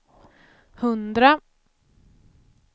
hundra